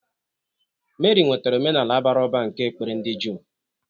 Meri nwetara omenala bara ụba nke ekpere ndị Juu.